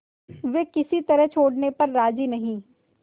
वे किसी तरह छोड़ने पर राजी नहीं